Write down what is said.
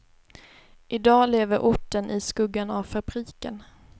Idag lever orten i skuggan av fabriken.